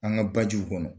An ka bajiw kɔnɔ